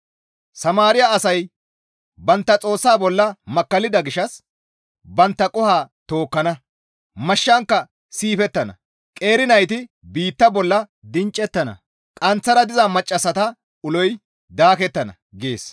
Samaariya asay bantta Xoossa bolla makkallida gishshas bantta qoho tookkana; mashshankka siifettana; qeeri nayti biitta bolla dinccettana; qanththara diza maccassata uloy daakettana» gees.